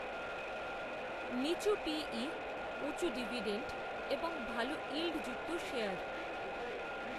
নিচু P E, উঁচু dividend, এবং ভাল, ইল্ডযুক্ত শেয়ার